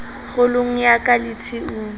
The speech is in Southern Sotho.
kgolong ya ka le tshiung